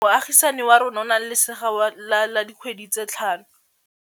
Moagisane wa rona o na le lesea la dikgwedi tse tlhano.